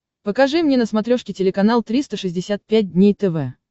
покажи мне на смотрешке телеканал триста шестьдесят пять дней тв